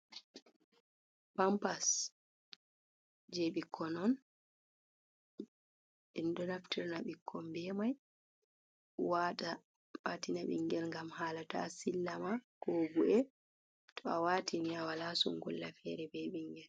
Pampas je ɓikkon on en ɗo naftirna ɓikko be mai wata watina bingel ngam hala ta sillama ko bu’e to awatini awala sungulla fere be ɓingel.